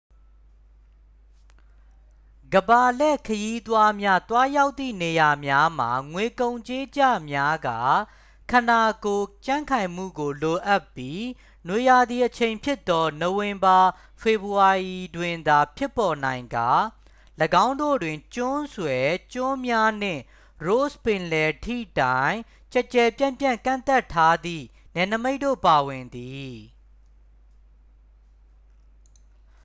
ကမ္ဘာလှည့်ခရီးသွားများ သွားရောက်သည့်နေရာများမှာ ငွေကုန်ကြေးကျများကာ ခန္ဓာကိုယ်ကြံ့ခိုင်မှုကိုလိုအပ်ပြီး နွေရာသီအချိန်ဖြစ်သော နိုဝင်ဘာ-ဖေဖော်ဝါရီတွင်သာ ဖြစ်ပေါ်နိုင်ကာ ၎င်းတို့တွင် ကျွန်းဆွယ် ကျွန်းများနှင့် ross ပင်လယ် ထိတိုင်ကျယ်ကျယ်ပြန့်ပြန့်ကန့်သတ်ထားသည့် နယ်နိမိတ်တို့ပါဝင်သည်